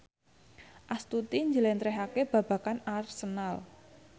Astuti njlentrehake babagan Arsenal